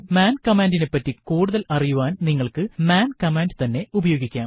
മാൻ കമാൻഡിനെപ്പറ്റി കൂടുതൽ അറിയാൻ നിങ്ങൾക്കു മാൻ കമ്മാൻഡു തന്നെ ഉപയോഗിക്കാം